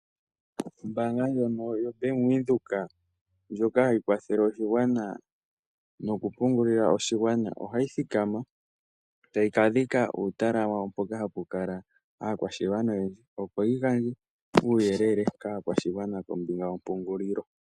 Ombaanga yobank Windhoek ndjono hayi kwathele oshigwana noku pungulila oshigwana ohayi fala omayakulo gawo hoka kuna aakwashigwana yawo tayi dhike ootenda mono taya kala, opo ya gandje uuyelele kombinga yomapungulilo kaayakulwa yawo.